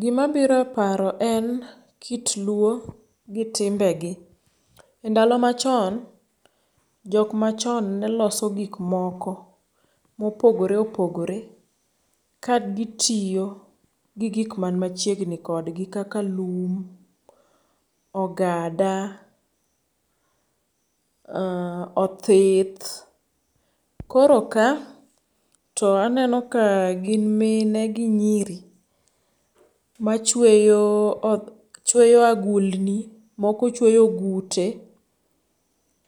Gima biro eparo en kit luo gi timbegi. Endalo machon jok machon neloso gik moko mopogore opogore ka gitiyo gi gik man machiegni kodgi kaka lum, ogada, othith. Koro ka to aneno ka gin mine gi nyiri machueyo agulni moko chweyo ogute